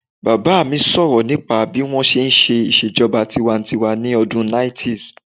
Bàbá mi sọ̀rọ̀ nípa bí wọ́n ṣe n ṣe ìṣèjọba tinwatinwa ní ọdún 90's